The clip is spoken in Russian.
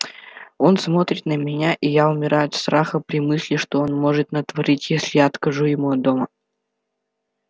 он смотрит на меня и я умираю от страха при мысли что он может натворить если я откажу ему от дома